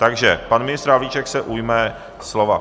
Takže pan ministr Havlíček se ujme slova.